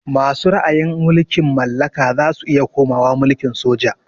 Masu ra'ayin mulkin mallaka zasu iya komawa mulkin soja